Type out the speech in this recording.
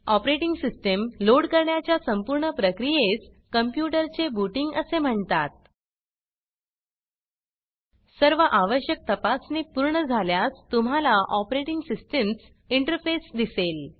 operating system load करण्याच्या संपूर्ण प्रक्रियेस कंप्यूटर चे बूटिंग असे म्हणतात सर्व आवश्यक तपासणी पूर्ण झाल्यास तुम्हाला ऑपरेटिंग सिस्टमस इंटरफेस दिसेल